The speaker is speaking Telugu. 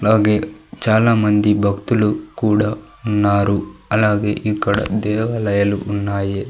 అలాగే చాలామంది భక్తులు కూడా ఉన్నారు అలాగే ఇక్కడ దేవాలయాలు ఉన్నాయి.